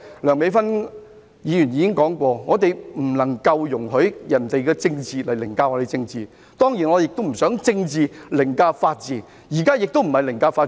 梁美芬議員剛才已表示，我們不能夠容許別人以政治凌駕我們的政治，當然我也不想政治凌駕法治，現在亦非凌駕法治。